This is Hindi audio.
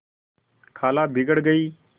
खाला बिगड़ गयीं